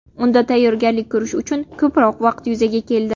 Unda tayyorgarlik ko‘rish uchun ko‘proq vaqt yuzaga keldi.